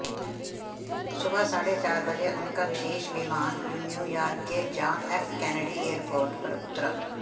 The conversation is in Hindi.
सुबह साढ़े चार बजे उनका विशेष विमान न्यूयॉर्क के जॉन एफ कैनेडी एयरपोर्ट पर उतरा